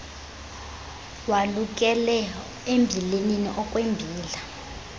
walukele embilinini okwembila